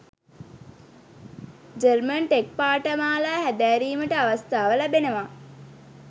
German tech පාඨමාලා හැදෑරීමට අවස්ථාව ලැබෙනවා